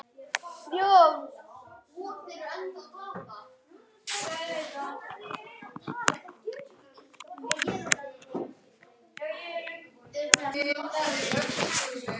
En sofðu rótt, mamma mín.